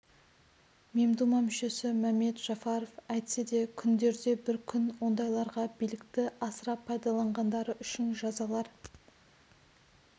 мемдума мүшесі мәмед жафаров әйтсе де күндерде бір күн ондайларға билікті асыра пайдаланғандары үшін жазалар